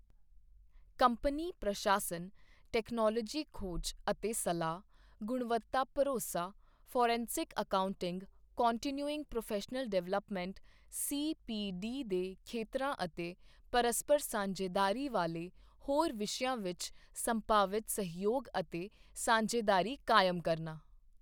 Company ਪ੍ਰਸ਼ਾਸਨ, technology ਖੋਜ ਅਤੇ ਸਲਾਹ, ਗੁਣਵੱਤਾ ਭਰੋਸਾ, forensic accounting, continuing professional development CPD ਦੇ ਖੇਤਰਾਂ ਅਤੇ ਪਰਸਪਰ ਸਾਂਝੇਦਾਰੀ ਵਾਲੇ ਹੋਰ ਵਿਸ਼ਿਆਂ ਵਿੱਚ ਸੰਭਾਵਿਤ ਸਹਿਯੋਗ ਅਤੇ ਸਾਂਝੇਦਾਰੀ ਕਾਇਮ ਕਰਨਾ।